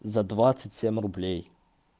за двадцать семь рублей